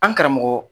An karamɔgɔ